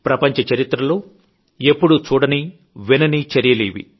ప్రపంచ చరిత్రలో ఎప్పుడూ చూడని వినని చర్యలు ఇవి